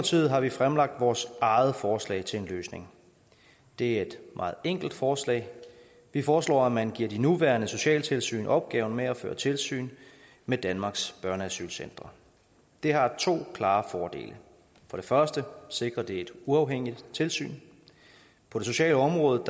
side har vi fremlagt vores eget forslag til en løsning det er et meget enkelt forslag vi foreslår at man giver de nuværende socialtilsyn opgaven med at føre tilsyn med danmarks børneasylcentre det har to klare fordele for det første sikrer det et uafhængigt tilsyn på det sociale område